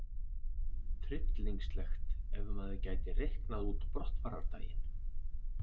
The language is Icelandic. Tryllingslegt ef maður gæti reiknað út brottfarardaginn!